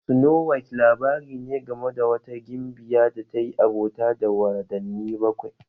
Snowhite labari ne game da wata gimbiya da ta yi abota da wadanni bakwai